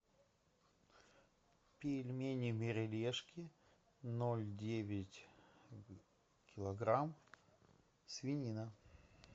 пельмени мерилешки ноль девять килограмм свинина